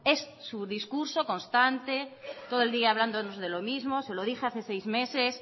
es su discurso constante todo el día hablándonos de lo mismo se lo dije hace seis meses